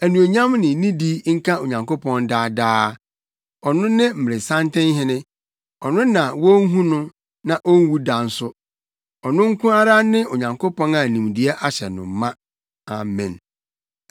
Anuonyam ne nidi nka Onyankopɔn daa daa. Ɔno ne mmeresantenhene. Ɔno na wonhu no na onwu da nso. Ɔno nko ara ne Onyankopɔn a nimdeɛ ahyɛ no ma. Amen.